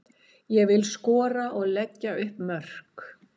Ég vil skora og leggja upp mörk.